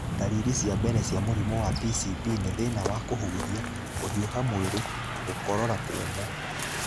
Ndariri cia mbere cia mũrimũ wa PCP nĩ thĩna wa kũhuhia, kũhiũha mwĩrĩ na gũkorora kũmũ.